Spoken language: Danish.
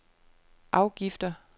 afgifter